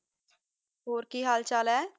ਹੂਰ ਕੀ ਹਾਲ ਚਲ ਆਯ